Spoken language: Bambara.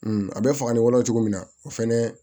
a bɛ faga ni wolo cogo min na o fɛnɛ